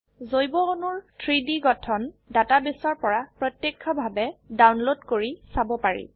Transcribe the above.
জৈব অণুৰ 3ডি গঠন ডাটাবেসৰ পৰা প্ৰত্যক্ষভাবে ডাউনলোড কৰি চাবপাৰি